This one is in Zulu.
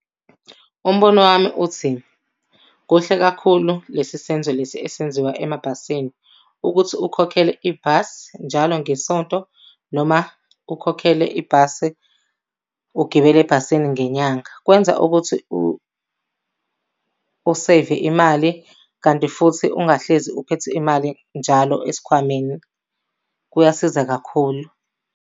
Umbono wami uthi, kuhle kakhulu lesi senzo lesi esenziwa emabhasini, ukuthi ukhokhele ibhasi njalo ngesonto noma ukhokhele ibhasi ugibele ebhasini ngenyanga. Kwenza ukuthi useyive imali, kanti futhi ungahlezi uphethe imali njalo esikhwameni. Kuyasiza kakhulu.